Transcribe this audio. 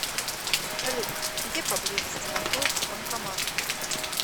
салют где поблизости находится банкомат